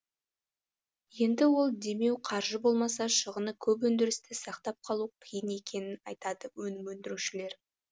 енді ол демеу қаржы болмаса шығыны көп өндірісті сақтап қалу қиын екенін айтады өнім өндірушілер